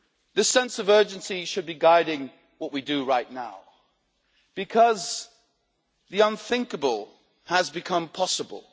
This sense of urgency should be guiding what we do right now, because the unthinkable has become possible.